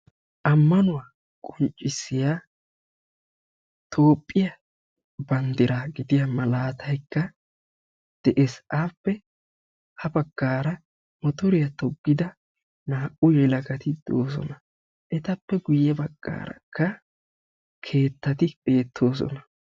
Ammanuwaa qonccisiyaa toophphiyaa banddiraa gidiyaa malaatay de'ees. appe ha baggaaramotoriyaa toggida naa"u naati de'oosona. etappe guye baggaarakka keettati beettoosona.